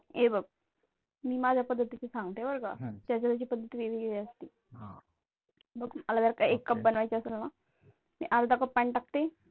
हे बघ, मी माझ्या पद्धतीने सांगते बरं का? ज्याची त्याची प्रत्येकाची पद्धत वेगवेगळी असते. आह मला जर का एक कप बनवायचे असेल ना, अर्धा Cup पाणी टाकते,